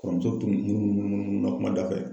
Kɔrɔmuso tun munu munu na kuma da fɛ.